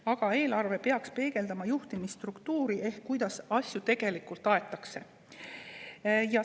Aga eelarve peaks peegeldama juhtimisstruktuuri ehk seda, kuidas tegelikult asju aetakse.